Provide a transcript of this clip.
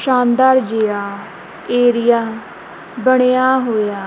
ਸ਼ਾਨਦਾਰ ਜਿਹਾ ਏਰੀਆ ਬਣਿਆ ਹੋਇਆ।